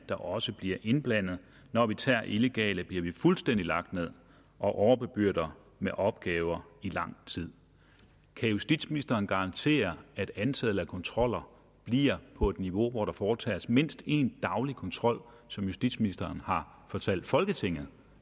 der også bliver indblandet når vi tager illegale bliver fuldstændig lagt ned og overbebyrdet med opgaver i lang tid kan justitsministeren garantere at antallet af kontroller bliver på et niveau hvor der foretages mindst en daglig kontrol som justitsministeren har fortalt folketinget